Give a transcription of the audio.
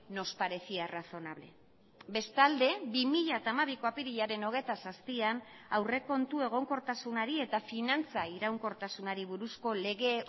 nos parecía razonable bestalde bi mila hamabiko apirilaren hogeita zazpian aurrekontu egonkortasunari eta finantza iraunkortasunari buruzko lege